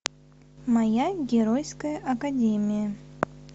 моя геройская академия